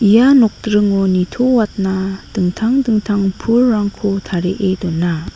ia nokdringo nitoatna dingtang dingtang pulrangko tarie dona.